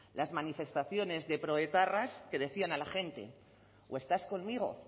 las manifestaciones de proetarras que decían a la gente o estás conmigo